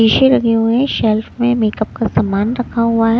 शीशे लगे हुए है शेल्फ में मेकअप का सामान रखा हुआ है।